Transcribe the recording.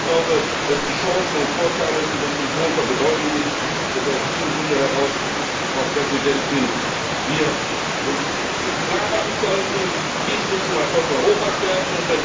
Ich glaube, dass die Chancen und Vorteile für uns von großer Bedeutung sind und dass aus diesem Grunde heraus, Frau Präsidentin, wir uns klarmachen sollten Dies muss zum Erfolg Europas werden.